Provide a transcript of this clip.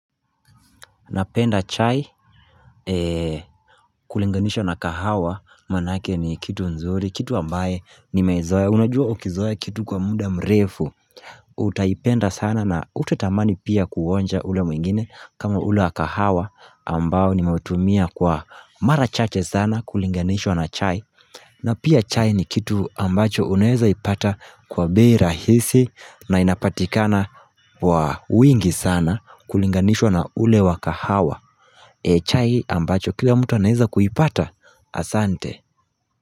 Napenda chai kulinganishwa na kahawa manake ni kitu nzuri kitu ambaye nimeizoea unajua ukizoea kitu kwa muda mrefu Utaipenda sana na utatamani pia kuonja ule mwingine kama ule wa kahawa ambao nimeutumia kwa mara chache sana kulinganishwa na chai na pia chai ni kitu ambacho unaeza ipata kwa bei rahisi na inapatikana kwa wingi sana kulinganishwa na ule wa kahawa E chai ambacho kila mtu anaeza kuipata Asante.